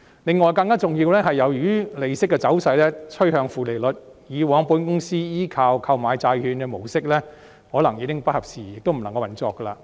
第二，更重要的是，由於利息的走勢趨向負利率，以往保險公司依靠購買債券的模式可能已經不合時宜，亦無法運作。